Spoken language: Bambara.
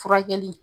Furakɛli